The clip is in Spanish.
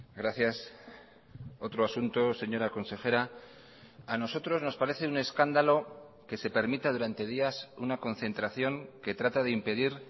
gracias otro asunto señora consejera a nosotros nos parece un escándalo que se permita durante días una concentración que trata de impedir